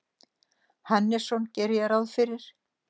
Hannesson gerir ráð fyrir.